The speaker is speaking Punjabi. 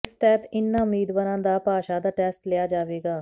ਇਸ ਤਹਿਤ ਇਨ੍ਹਾਂ ਉਮੀਦਵਾਰਾਂ ਦਾ ਭਾਸ਼ਾ ਦਾ ਟੈਸਟ ਲਿਆ ਜਾਵੇਗਾ